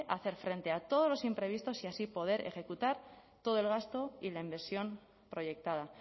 hacer frente a todos los imprevistos y así poder ejecutar todo el gasto y la inversión proyectada